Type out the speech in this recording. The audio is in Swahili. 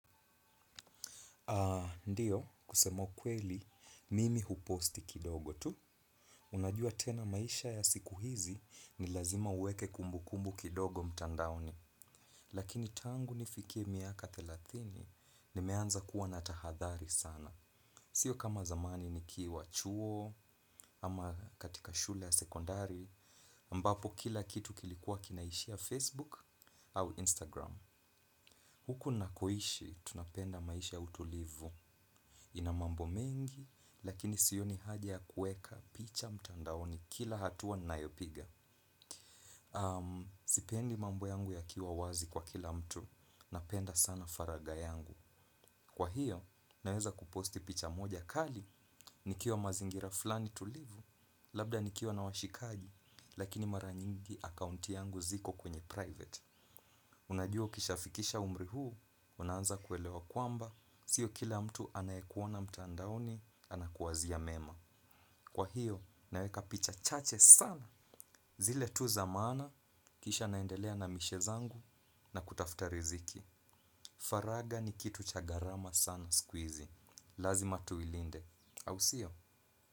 Ndio kusema ukweli mimi huposti kidogo tu. Unajua tena maisha ya siku hizi ni lazima uweke kumbukumbu kidogo mtandaoni. Lakini tangu nifikie miaka thelathini nimeanza kuwa na tahadhari sana. Sio kama zamani nikiwa chuo ama katika shule ya sekondari. Ambapo kila kitu kilikuwa kinaishia Facebook au Instagram. Huku nakoishi tunapenda maisha utulivu. Ina mambo mingi, lakini sioni haja ya kueka picha mtandaoni kila hatua nayopiga. Sipendi mambo yangu yakiwa wazi kwa kila mtu, napenda sana faraga yangu. Kwa hiyo, naweza kuposti picha moja kali, nikiwa mazingira fulani tulivu, labda nikiwa na washikaji. Lakini mara nyingi akaunti zangu ziko kwenye private. Unajua ukishafikisha umri huu, unaanza kuelewa kwamba, sio kila mtu anayekuona mtaandaoni, anakuwazia mema. Kwa hiyo, naweka picha chache sana. Zile tu za maana, kisha naendelea na mishe zangu na kutafuta riziki. Faraga ni kitu cha gharama sana siku hizi. Lazima tuilinde. Ausio.